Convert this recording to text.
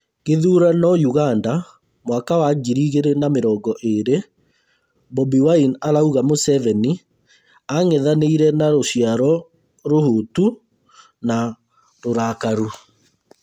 Gĩthurano Uganda Mwaka wa ngiri igĩrĩ na mĩrongo ĩĩrĩ: Bobi Wine arauga Museveni anang’ethanĩra na rũciaro rũhũtu na rũrakaru